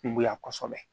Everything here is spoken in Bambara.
Kungoya kosɛbɛ